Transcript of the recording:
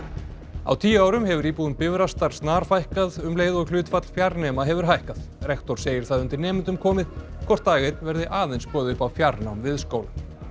á tíu árum hefur íbúum Bifrastar snarfækkað um leið og hlutfall fjarnema hefur hækkað rektor segir það undir nemendum komið hvort dag einn verði aðeins boðið upp á fjarnám við skólann